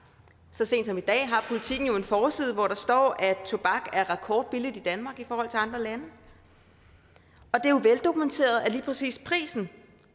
så sent som i dag har politiken jo en forside hvor der står at tobak er rekordbilligt i danmark i forhold til andre lande det er jo veldokumenteret at lige præcis prisen